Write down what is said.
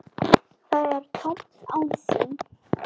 Það er tómt án þín.